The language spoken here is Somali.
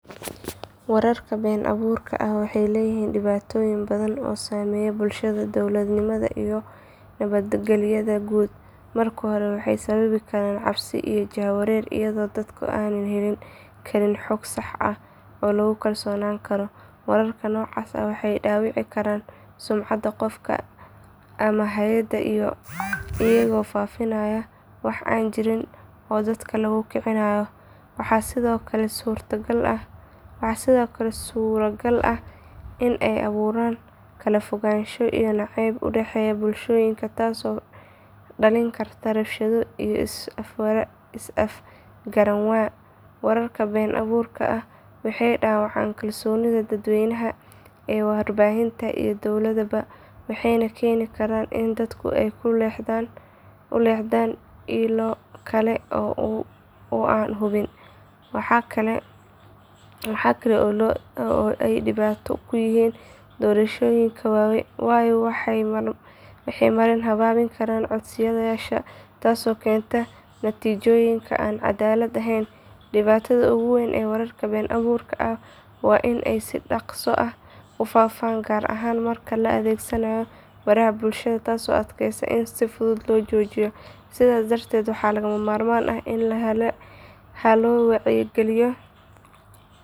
Wararka been abuurka ah waxay leeyihiin dhibaatooyin badan oo saameeya bulshada, dowladnimada iyo nabadgelyada guud. Marka hore waxay sababi karaan cabsi iyo jahwareer iyadoo dadku aanay heli karin xog sax ah oo lagu kalsoonaan karo. Wararka noocaas ah waxay dhaawici karaan sumcadda qof ama hay’ad iyagoo faafinaya wax aan jirin oo dadka lagu kicinayo. Waxaa sidoo kale suuragal ah in ay abuuraan kala fogaansho iyo nacayb u dhexeeya bulshooyinka taasoo dhalin karta rabshado iyo is afgaranwaa. Wararka been abuurka ah waxay dhaawacaan kalsoonida dadweynaha ee warbaahinta iyo dowladaba waxayna keeni karaan in dadku ay u leexdaan ilo kale oo aan hubin. Waxaa kale oo ay dhibaato ku yihiin doorashooyinka waayo waxay marin habaabin karaan codbixiyeyaasha taasoo keenta natiijooyin aan caddaalad ahayn. Dhibta ugu weyn ee wararka been abuurka ah waa in ay si dhaqso ah u faa’faan gaar ahaan marka la adeegsanayo baraha bulshada taasoo adkeysa in si fudud lagu joojiyo. Sidaas darteed waxaa lagama maarmaan ah in la helo wacyigelin.